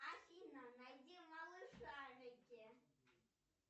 афина найди малышарики